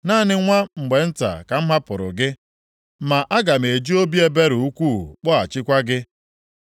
“Naanị nwa mgbe nta ka m hapụrụ gị. Ma aga m eji obi ebere ukwuu kpọghachikwa gị